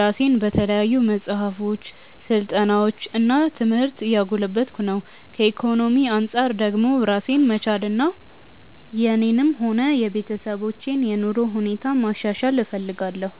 ራሴን በተለያዩ መጽሐፎች፣ ስልጠናዎች እና ትምህርት እያጎለበትኩ ነው። ከኢኮኖሚ አንጻር ደግሞ ራሴን መቻልና የኔንም ሆነ የቤተሰቦችን የኑሮ ሁኔታ ማሻሻል እፈልጋለሁ።